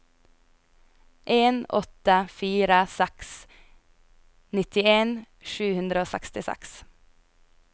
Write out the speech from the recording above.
en åtte fire seks nittien sju hundre og sekstiseks